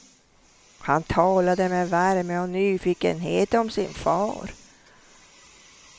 Han talade med värme och nyfikenhet om sin far.